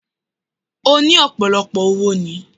Ó ní ọ̀pọ̀lọpọ̀ owo ni